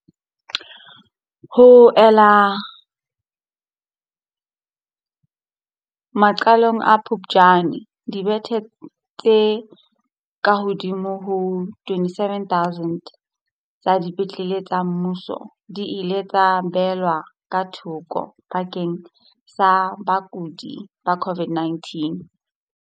Ho ella maqalong a Phuptjane, dibethe tse kahodimo ho 27 000 tsa dipetlele tsa mmuso di ile tsa beellwa ka thoko bakeng sa bakudi ba COVID-19.